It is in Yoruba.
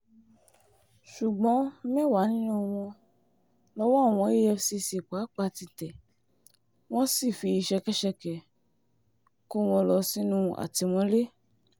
ṣùgbọ́n mẹ́wàá nínú wọn lowó àwọn efcc pápá tẹ̀ tí wọ́n sì fi ṣẹkẹ́ṣẹkẹ̀ kó wọn lọ sínú àtìmọ́lé